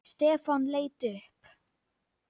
Stefán leit upp.